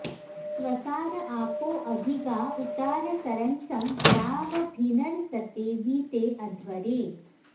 स्वसा॑र॒ आपो॑ अ॒भि गा उ॒तास॑र॒न्सं ग्राव॑भिर्नसते वी॒ते अ॑ध्व॒रे